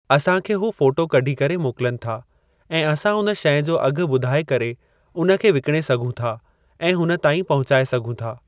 असां खे हू फोटो कॾी करे मोकिलिनि था ऐं असां उन शइ जो अघु बुधाइ करे उन खे विकणे सघूं था ऐं हुन ताईं पहुचाए सघूं था।